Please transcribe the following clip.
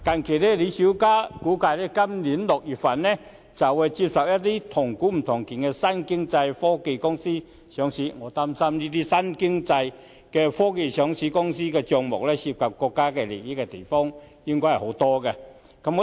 據李小加估計，香港自今年6月起會接受"同股不同權"的新經濟科技公司上市，我擔心該等公司的帳目有很大部分涉及國家機密資料。